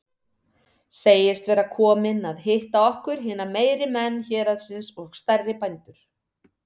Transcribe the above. Segist vera kominn að hitta okkur hina meiri menn héraðsins og stærri bændur.